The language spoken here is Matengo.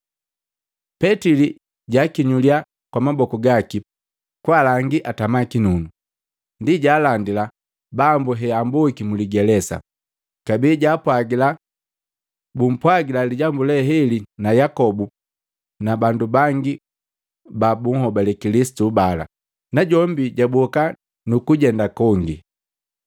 Petili jwakinyulya kwa maboku gaki kwaalangi atama kinunu, ndi jaalandila Bambu heamboa muligelesa. Kabee jaapwagila bumpwagila lijambu leheli na Yakobu na bandu bangi ba bunhobale Kilisitu bala, najombi jwaboka nukujenda kongi.